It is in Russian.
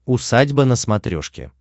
усадьба на смотрешке